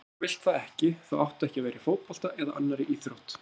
Ef þú vilt það ekki þá áttu ekki að vera í fótbolta eða annarri íþrótt.